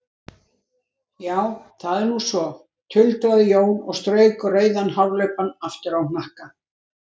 Já, það er nú svo, tuldraði Jón og strauk rauðan hárlubbann aftur á hnakka.